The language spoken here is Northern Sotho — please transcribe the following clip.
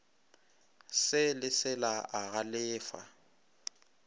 se le sela a galefa